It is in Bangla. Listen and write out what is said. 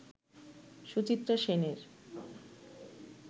সুচিত্রা সেনের